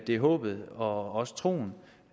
det er håbet og også troen